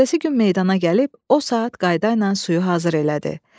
Ertəsi gün meydana gəlib o saat qayda ilə suyu hazır elədi.